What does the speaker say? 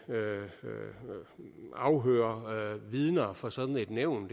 afhøre vidner for sådan et nævn